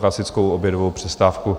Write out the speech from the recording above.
klasickou obědovou přestávku.